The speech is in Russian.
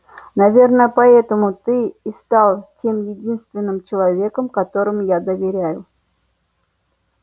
наверное поэтому ты и стал тем единственным человеком которому я доверяю